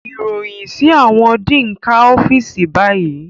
Iroyin si awọn dean ká ọfiisi bayi